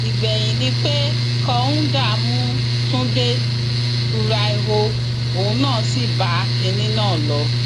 ìgbẹyìn ni pé kọńdà mú túnde buraiho òun náà sí bá kinní náà lọ